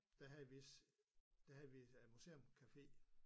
Der havde vis der havde vi museum café